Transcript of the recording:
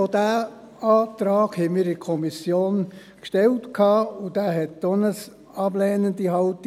Auch diesen Antrag hatten wir in der Kommission gestellt, und auch zu diesem gab es eine ablehnende Haltung.